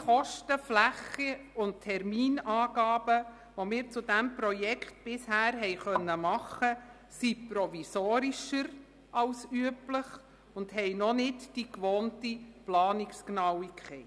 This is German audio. Alle Kosten-, Flächen- und Terminangaben, die wir zu diesem Projekt bisher machen konnten, sind provisorischer als üblich und haben noch nicht die gewohnte Planungsgenauigkeit.